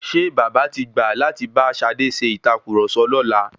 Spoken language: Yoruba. Ṣé bàbá tí gbà láti bá Ṣadé ṣe ìtàkurọ̀sọ lọ́la?